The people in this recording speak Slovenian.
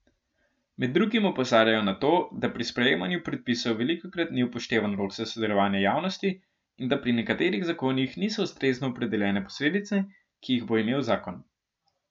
Med drugim opozarjajo na to, da pri sprejemanju predpisov velikokrat ni upoštevan rok za sodelovanje javnosti, in da pri nekaterih zakonih niso ustrezno opredeljene posledice, ki jih bo imel zakon.